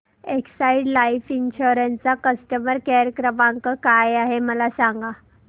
Exide Life Insurance चा customer care क्रमांक काय आहे मला सांगा